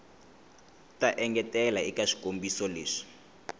ta engetela eka swikombiso leswi